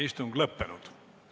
Istungi lõpp kell 13.05.